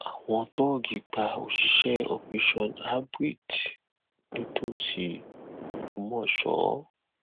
àwọn tóògì pa òṣìṣẹ operation abrit nítòsí ògbọmọso